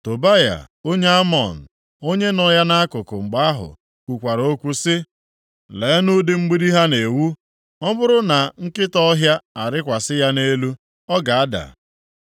Tobaya onye Amọn, onye nọ ya nʼakụkụ mgbe ahụ, kwukwara okwu sị; “Leenụ ụdị mgbidi ha na-ewu! Ọ bụrụ na nkịta ọhịa arịkwasị ya nʼelu ọ ga-ada!”